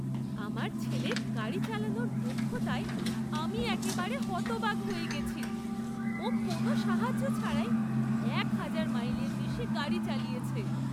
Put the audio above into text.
আমার ছেলের গাড়ি চালানোর দক্ষতায় আমি একেবারে হতবাক হয়ে গেছি! ও কোনও সাহায্য ছাড়াই একহাজার মাইলের বেশি গাড়ি চালিয়েছে!